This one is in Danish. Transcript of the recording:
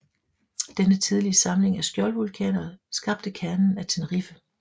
Denne tidlige samling af skjoldvulkaner skabte kernen af Tenerife